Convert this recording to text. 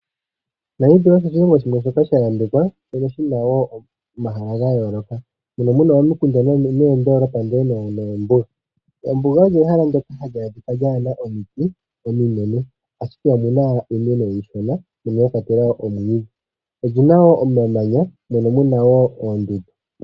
Namibia osho oshilongo shimwe shoka sha yambekwa. Shono shina wo omahala gayoloka. Mono muna omiikunda noondolopa ndele noombuga. Ombuga olyo ehala ndyoka hali adhika lyaana omiiti ominene. Ashike omuna iimeno iishona mono mwakwatelwa omwiidhi. Oli nawo omamanya mono munawo oondundu.